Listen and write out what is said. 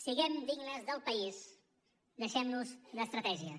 siguem dignes del país deixem nos d’estratègies